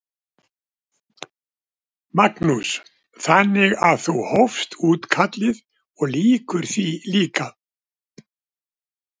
Magnús: Þannig að þú hófst útkallið og lýkur því líka?